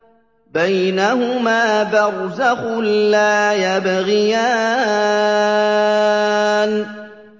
بَيْنَهُمَا بَرْزَخٌ لَّا يَبْغِيَانِ